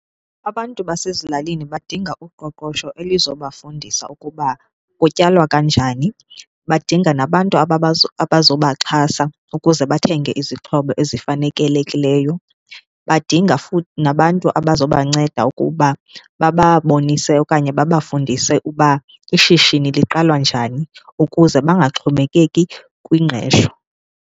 Abantu basezilalini badinga uqoqosho elizobafundisa ukuba kutyalwa kanjani badinga nabantu abazobaxhasa ukuze bathenge izixhobo ezifanekelekileyo, badinga futhi nabantu abazobanceda ukuba bababonise okanye babafundise uba ishishini liqalwa njani ukuze bangaxhomekeki kwingqesho.